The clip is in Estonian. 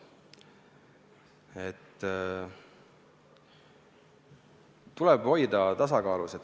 Tuleb hoida tasakaalu.